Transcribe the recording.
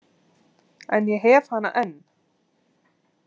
En ég hef hana enn.